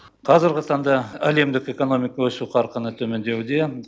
қазіргі таңда әлемдік экономика өсу қарқыны төмендеуде